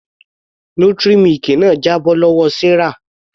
Nutri milk náà jábọ́ lọ́wọ Sarah.